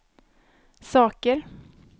saker